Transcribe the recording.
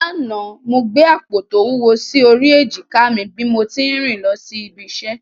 Lánàá, mo gbé àpò tó wúwo sí orí èjìká mi bí mo tí ń rìn lọ ibi iṣẹ́